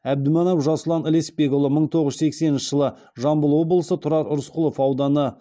әбдіманап жасұлан лесбекұлы мың тоғыз жүз сексенінші жылы жамбыл облысы тұрар рысқұлов ауданы